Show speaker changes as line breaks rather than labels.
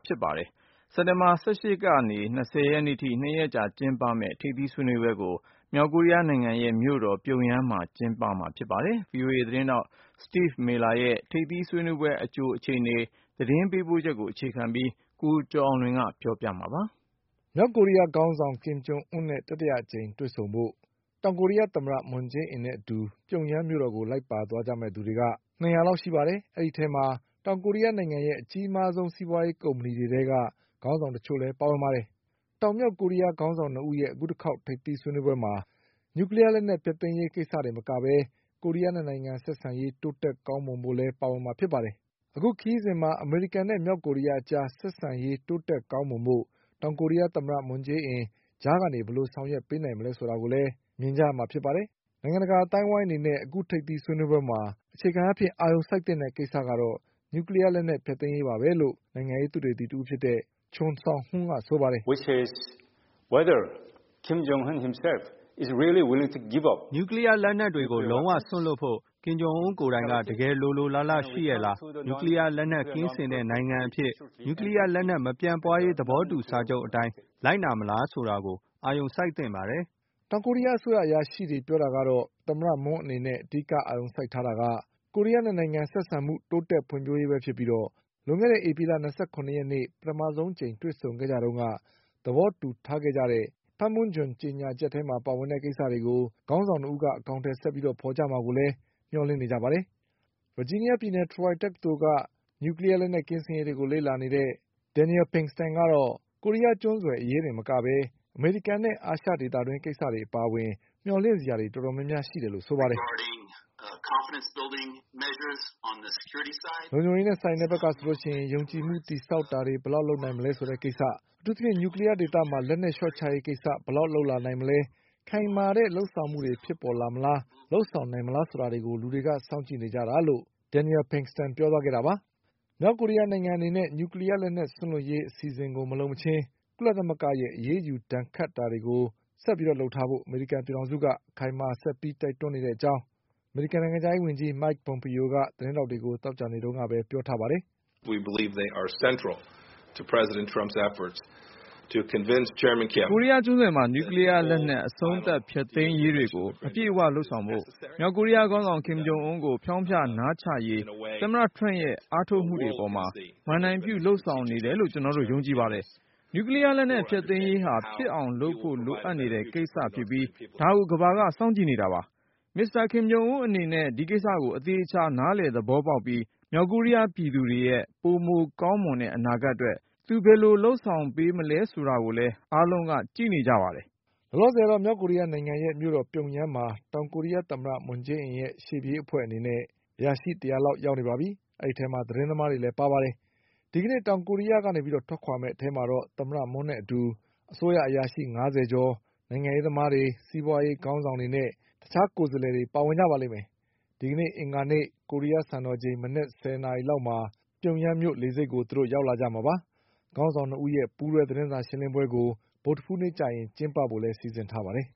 ဖြစ်ပါတယ်။ စက်တင်ဘာလ ၁၈ရက်ကနေ၂၀ရက်နေ့အထိ၂ရက်ကြာမယ့်ထိပ်သီးဆွေးနွေးပွဲကို မြောက်ကိုရီးယားနိုင်ငံရဲ့မြို့တော် ပြုံယမ်းမှာ ကျင်းပမှာပါ။ VOA သတင်းထောက် Steve Millerရဲ့ ထိပ်သီးဆွေးနွေးပွဲအကြို သတင်းပေးပို့ချက်ကို အခြေ ခံပြီး
ကိုကျော်အောင်လွင်က ပြောပြပါလိမ့်မယ်။ မြောက်ကိုရီးယားခေါင်းဆောင် ကင်ဂျုံအွန်းနဲ့ တတိယအကြိမ်တွေ့ဆုံဖို့ တောင်ကိုရီးယားသမ္မတ မွန်ဂျေးအင်နဲ့အတူ ပြုံယမ်းမြို့ကိုလိုက်ပါသွားကြမယ့်သူတွေက နှစ်ရာလောက် ရှိပါတယ်။ အဲဒီအထဲမှာ တောင်ကိုရီးယားနိုင်ငံရဲ့အကြီးမား ဆုံး စီးပွါးရေးကုမ္ပဏီတွေထဲက ခေါင်းဆောင်တချို့လည်း ပါဝင်ပါတယ်။ တောင်မြောက်ကိုရီးယားခေါင်းဆောင် ၂ဦးရဲ့ အခုတခေါက် ထိပ်သီးဆွေးနွေးပွဲမှာ နျူကလီးယားလက်နက်ဖျက်သိမ်းရေးကိစ္စတင်မကပဲ ကိုရီးယား၂နိုင်ငံဆက်ဆံရေး တိုးတက်ကောင်းမွန်ဖို့လည်းပါဝင်မှာဖြစ်ပါတယ်။ အခုခရီးစဉ်မှာ အမေရိကန်နဲ့မြောက်ကိုရီးယားအကြားဆက်ဆံရေးတိုး တက်ကောင်းမွန်ဖို့ တောင်ကိုရီးယားသမ္မတ မွန်ဂျေးအင် ကြားကနေ ဘယ်လိုဆောင်ရွက်ပေးနိုင်မလဲဆိုတာကိုလည်း မြင်ကြရမှာဖြစ်ပါတယ်။ နိုင်ငံတကာအသိုင်းအဝိုင်းအနေနဲ့ အခုထိပ်သီ းဆွေးနွေးပွဲမှာ အခြေခံအားဖြင့်အာရုံစိုက်သင့်တဲ့ကိစ္စကတော့ နျူကလီးယားဖျက်သိမ်းရေးပါပဲလို့ နိုင်ငံရေးသုတေသီတဦးဖြစ်တဲ့ Cheon Seong Whun ကဆိုပါတယ်။ "န
ျူကလီးယားလက်နက်တွေကို လုံးဝစွန့်လွှတ်ဖို့ ကင်ဂျုံအွန်းကိုယ်တိုင်က တကယ်လိုလိုလားလားရှိရဲ့လား၊ နျူကလီး ယားလက်နက်ကင်းစင်တဲ့နိုင်ငံအဖြစ်နဲ့ နျူကလီးယားလက်နက် မပြန့်ပွားရေးသဘောတူစာချုပ်အတိုင်းလိုက်နာမလား ဆိုတာကို အာရုံစိုက်သင့်ပါတယ်။
" တောင်ကိုရီးယားအစိုးရ အရာရှိတွေပြောတာကတော့ သမ္မတမွန်းအနေနဲ့ အဓိကအာရုံစိုက်ထားတာက ကိုရီးယား၂နိုင်ငံ ဆက်ဆံမှုတိုးတက်ဖွံ့ဖြိုးရေးပဲဖြစ်ပြီး လွန်ခဲ့တဲ့ ဧပြီလ၂၇ရက်နေ့ ပထမဆုံးအကြိမ်တွေ့ဆုံခဲ့ကြတုန်းက သဘောတူခဲ့ကြ တဲ့ ပန်းမွန်းဂျွန် ကြေညာချက်ထဲမှာပါဝင်တဲ့ကိစ္စတွေကို ခေါင်းဆောင်၂ဦးက အကောင်အထည်ဆက်ပြီးဖေါ်ကြမှာကိုလည်း မျှော်လင့်နေကြပါတယ်။ ဗာဂျီးနီးယားပြည်နယ် Troy တက္ကသိုလ်က နျူကလီးယား လက်နက်ဖျက်သိမ်းရေးကိစ္စတွေကို လေ့လာနေတဲ့ Daniel Pinkston ကတော့ အခု တတိယအကြိမ်ထိပ်သီးဆွေးနွေးပွဲကနေ ကိုရီးယားကျွန်းဆွယ် အရေးတင်မကပဲ အမေရိကန်နဲ့ အာရှဒေသတွင်း ကိစ္စတွေအပါအဝင် မျှော်လင့်စရာတွေ တော်တော်များများရှိတယ်လို့ဆိုပါတယ်။ "လုံခြုံရေးနဲ့ဆိုင်တဲ့ ဘက်ကဆိုရင် ယုံကြည်မှုတည်ဆောက်တာတွေ ဘယ်လောက်လုပ်နိုင်မလဲဆိုတဲ့ကိစ္စ၊ အထူးသဖြင့် နျူကလီးယားဒေသမှာ လက်နက်လျှော့ချရေးကိစ္စ ဘယ်လောက်လုပ်လာနိုင်မလဲ၊ ခိုင်မာမာတဲ့လုပ်ဆောင်မှုတွေ ဖြစ်ပေါ်လာမလား၊ လုပ်ဆောင်နိုင်မလားဆိုတာကို လူတွေက စောင့်ကြည့်နေကြတာပါ။" မြောက်ကိုရီးယားနိုင်ငံအနေနဲ့ နျူကလီးယားလက်နက် စွန့်လွှတ်ရေးအစီအစဉ်ကိုမလုပ်မချင်း ကုလသမဂ္ဂရဲ့အရေးယူဒဏ် ခတ်တာတွေကိုဆက်ပြီးလုပ်ထားဖို့ အမေရိကန်ပြည်ထောင်စုက အခိုင်အမာဆက်ပြီးတိုက်တွန်းနေတဲ့အကြောင်း အမေရိကန်နိုင်ငံခြားရေးဝန်ကြီး Mike Pompeo က သတင်းထောက်တွေကို သောကြာနေ့တုန်းကပဲပြောထားပါတယ်
။ "ကိုရီး
ယားကျွန်းဆွယ်မှာ နျူကလီးယားလက်နက် အ
ဆုံးသတ် ဖျက်သိမ်းရေးတွေကို အပြည့်အဝလုပ်ဆောင်ဖို့ မြောက်ကိုရီးယားခေါင်းဆောင်ကင် ဂျုံအွန်းကို ဖျောင်းဖျ နားချရေး သမ္မတထရမ့်ရဲ့ အားထုတ်မှုတွေအပေါ်မှာ မဏ္ဍိုင်ပြုလုပ်ဆောင် နေတယ်လို့ ကျနော်တို့ ယုံကြည်ပါတယ်။ နျူကလီးယားလက်နက်ဖျက်သိမ်းရေး ဟာဖြစ်အောင်လုပ်ဖို့လိုအပ်နေတဲ့ကိစ္စ ဖြစ်ပြီး ဒါကိုကမ္ဘာက စောင့်ကြည့်နေတာပါ။ မစ္စတာကင်ဂျုံအွန်းအနေနဲ့ ဒီကိစ္စကိုအသေအချာနားလည်သဘောပေါက်ပြီး မြောက်ကိုရီးယားပြည်သူတွေရဲ့ ပိုမိုကောင်းမွန်တဲ့အနာဂတ်အတွက် သူဘယ်လိုလုပ်ဆောင်ပေးမလဲဆိုတာကိုလည်း အားလုံးက ကြည့်နေကြပါတယ်
" လောလောဆယ်တော့ မြောက်ကိုရီးယားနိုင်ငံရဲ့မြို့တော်ပြုံယမ်းမှာ တောင်ကိုရီးယားသမ္မတမွန်းဂျေးအင်ရဲ့ ရှေ့ပြေး အဖွဲ့အနေနဲ့ အရာရှိတရာလောက်ရောက်နေပါပြီ။ အဲဒီအထဲမှာ သတင်းသမားတွေလည်းပါပါတယ်။ ဒီကနေ့တောင်ကိုရီးယားကနေထွက်မယ့်အထဲမှာတော့ သမ္မတမွန်းနဲ့အတူ အစိုးရအရာရှိ ၅၀ ကျော်၊ နိုင်ငံရေးသမားတွေ၊ စီးပွါးရေးခေါင်း ဆောင်တွေနဲ့ တခြားကိုယ်စားလှယ်တွေပါဝင်ပါလိမ့်မယ်။ ခေါင်းဆောင်၂ဦးရဲ့ပူးတွဲသတင်းစာရှင်းလင်းပွဲကို ဗုဒ္ဓဟူးနေ့မှာ ကျင်းပဖို့လည်းစီစဉ်ထားပါတယ်